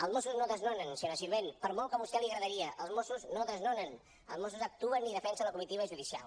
els mossos no desnonen senyora sirvent per molt que a vostè li agradaria els mossos no desnonen els mossos actuen i defensen la comitiva judicial